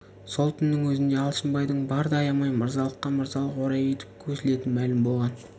сол түннің өзінде алшынбайдың барды аямай мырзалыққа мырзалық орай етіп көсілетіні мәлім болған